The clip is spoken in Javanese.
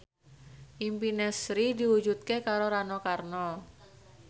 impine Sri diwujudke karo Rano Karno